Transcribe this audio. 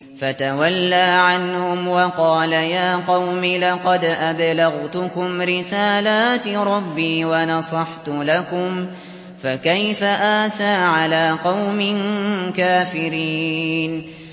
فَتَوَلَّىٰ عَنْهُمْ وَقَالَ يَا قَوْمِ لَقَدْ أَبْلَغْتُكُمْ رِسَالَاتِ رَبِّي وَنَصَحْتُ لَكُمْ ۖ فَكَيْفَ آسَىٰ عَلَىٰ قَوْمٍ كَافِرِينَ